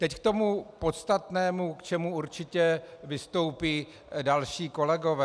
Teď k tomu podstatnému, k čemu určitě vystoupí další kolegové.